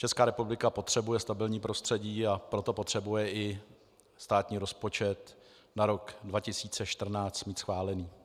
Česká republika potřebuje stabilní prostředí, a proto potřebuje i státní rozpočet na rok 2014 mít schválený.